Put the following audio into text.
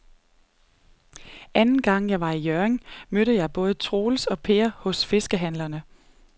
Anden gang jeg var i Hjørring, mødte jeg både Troels og Per hos fiskehandlerne.